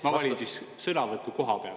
Ma valin sõnavõtu kohapealt.